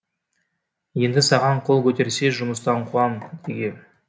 енді саған қол көтерсе жұмыстан қуам дегем